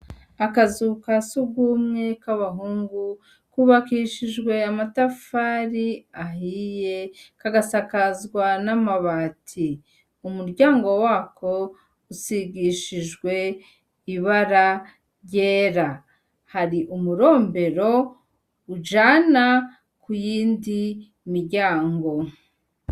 Akazu ka surwumwe k'abahungu, kubakishijwe amatafari ahiye, kagasakazwa n'amabati. Umuryango wako usigishijwe ibara ryera. Hari umurombero ujana ku yindi miryango.